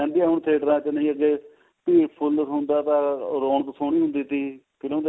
ਰਹਿੰਦੀ ਆ ਹੁਣ theater ਚ ਨਹੀ ਭੀੜ ਫੁੱਲ ਹੁੰਦਾ ਤਾ ਰੋਣਕ ਸੋਹਣੀ ਹੁੰਦੀ ਤੀ ਫਿਲਮ